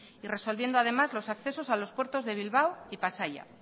y resolviendo además los accesos a los puertos de bilbao y pasaia